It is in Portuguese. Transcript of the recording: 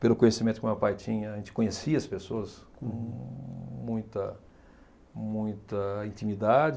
Pelo conhecimento que o meu pai tinha, a gente conhecia as pessoas com muita muita intimidade.